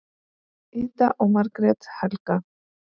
Ida og Margrét Helga.